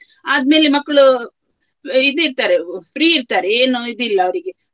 ಆದ್ಮೇಲೆ ಮಕ್ಳು ಇದ್ ಇರ್ತಾರೆ free ಇರ್ತಾರೆ ಏನು ಇದಿಲ್ಲ ಅವರಿಗೆ.